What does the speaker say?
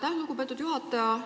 Aitäh, lugupeetud juhataja!